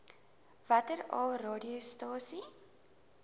watter aa radiostasies